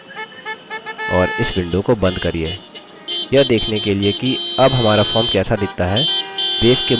और इस window को बंद करिये यह देखने के लिए कि अब हमारा form कैसा दिखता है